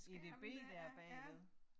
edb dér bagved